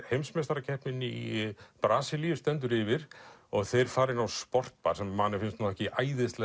heimsmeistarakeppnin í Brasilíu stendur yfir og þeir fara inn á sportbar sem manni finnst ekki